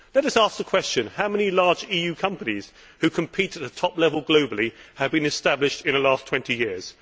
Let us ask the question how many large EU companies which compete at the top level globally have been established in the last 20 years?